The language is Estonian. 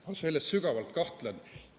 Ma selles sügavalt kahtlen.